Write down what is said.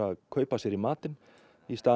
kaupa sér í matinn í stað